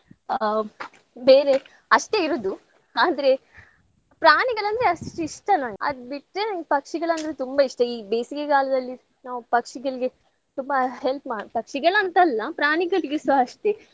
ಆ ಬೇರೆ ಅಷ್ಟೇ ಇರುದು. ಆದ್ರೆ ಪ್ರಾಣಿಗಳಂದ್ರೆ ಅಷ್ಟ್ ಇಷ್ಟ ನನ್ಗ್ ಅದ್ ಬಿಟ್ರೆ ನನ್ಗ್ ಪಕ್ಷಿಗಳಂದ್ರೆ ತುಂಬಾ ಇಷ್ಟ. ಈ ಬೇಸಿಗೆಗಾಲದಲ್ಲಿ ನಾವ್ ಪಕ್ಷಿಗಳಿಗೆ ತುಂಬಾ help ಮಾ~ ಪಕ್ಷಿಗಳಂತಲ್ಲ ಪ್ರಾಣಿಗಳಿಗೂಸ ಅಷ್ಟೇ.